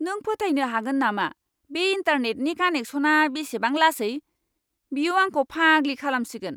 नों फोथायनो हागोन नामा बे इन्टारनेटनि कानेकसना बेसेबां लासै? बियो आंखौ फाग्लि खालामसिगोन!